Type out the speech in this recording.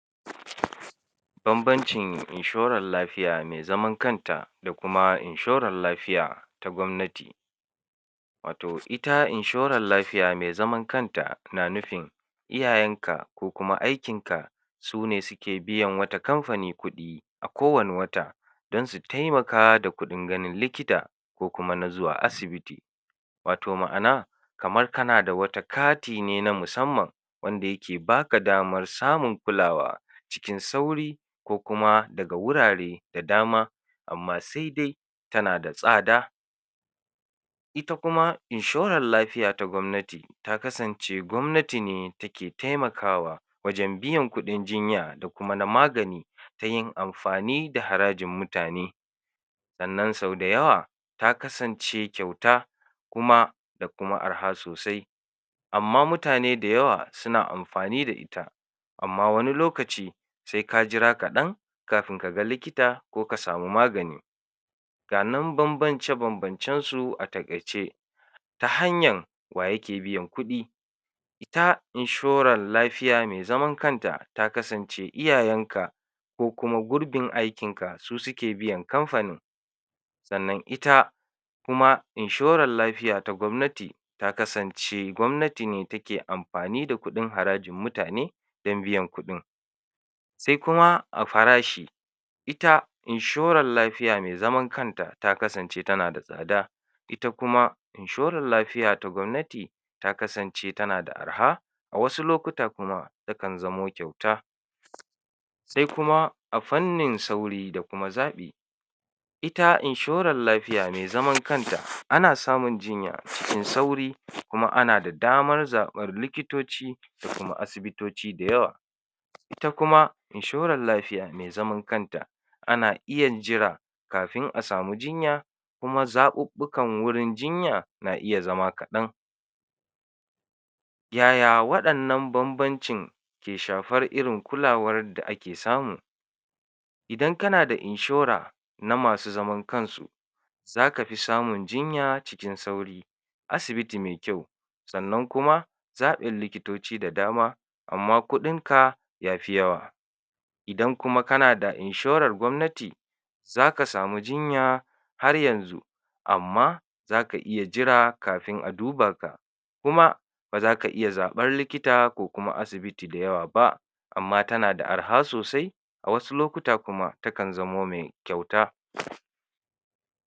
Banbancin inshoral lafiya me zaman kanta da kuma inshoral lafiya ta gwamnati, wato ita inshoral lafiya me zaman kanta, na nufin iyayanka ko kuma aikinka sune sike biyan wata kamfani kuɗi a kowane wata, dan su taimaka da kuɗin ganin likita ko kuma na zuwa asibiti, wato ma'ana kamar kana da wata kati ne na musamman wanda yake baka damar samun kulawa cikin sauri ko kuma daga wurare da dama amma se dai tana da tsada, ita kuma inshoral lafiya ta gwamnati, ta kasance gwamnati ne take taimakawa wajen biyan kuɗin jinya da kuma na magani ta yin amfani da harajin mutane, sannan sau da yawa ta kasance kyauta, kuma da kuma arha sosai, amma mutane da yawa sina amfani da ita amma wani lokaci se ka jira kaɗan kafin kaga likita ko ka samu magani, ga nan banbance banbancensu a taƙaice: Ta hanyan wa yake biyan kuɗi, ita inshoran lafiya me zaman kanta ta kasance iyayanka ko kuma gurbin aikinka su sike biyan kamfanin, sannan ita kuma inshoral lafiya ta gwamnati ta kasance gwamnati ne take amfani da kuɗin harajin mutane dan biyan kuɗin, se kuma a farashi ita inshoral lafiya me zaman kanta ta kasance tana da tsada, ita kuma inshoral lafiya ta gwamnati ta kasance tana da arha a wasu lokuta kuma takan zamo kyauta, se kuma a fanni sauri da kuma zaɓi, ita inshoral lafiya me zaman kanta ana samun jinya cikin sauri kuma ana da damar zaɓar likitoci da kuma asibitoci da yawa, ita kuma inshoral lafiya me zaman kanta ana iya jira kafin a samu jinya kuma zaɓuɓɓukan wurin jinya na iya zama kaɗan, yaya waɗannan banbancin ke shafar irin kulawar da ake samu, idan kana da inshora na masu zaman kansu zaka fi samun jinya cikin sauru zaka fi samun jinya cikin sauri, asibiti me kyau, sannan kuma zaɓin likitoci da dama amma kuɗinka yafi yawa, idan kuma kana da inshorar gwamnati zaka samu jinya har yanzu amma zaka iya jira kafin a duba ka, kuma bazaka iya zaɓar likita ko kuma asibiti da yawa ba, amma tana da arha sosai a wasu lokutan kuma takan zamo me kyauta.